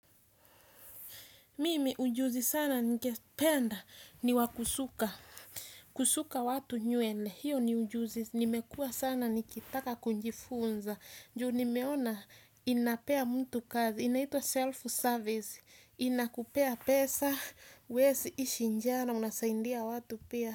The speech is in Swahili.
Mimi ujuzi sana ningependa ni wa kusuka, kusuka watu nywele, hiyo ni ujuzi, nimekuwa sana nikitaka kujifunza, juu nimeona inapea mtu kazi, inaitwa self-service, inakupea pesa, huezi ishi njaa, na unasaidia watu pia.